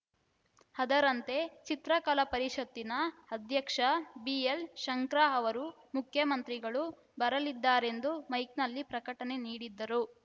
ಅದರಂತೆ ಚಿತ್ರಕಲಾ ಪರಿಷತ್ತಿನ ಅಧ್ಯಕ್ಷ ಬಿಎಲ್‌ಶಂಕರಾ ಅವರು ಮುಖ್ಯಮಂತ್ರಿಗಳು ಬರಲಿದ್ದಾರೆಂದು ಮೈಕ್‌ನಲ್ಲಿ ಪ್ರಕಟಣೆ ನೀಡಿದ್ದರು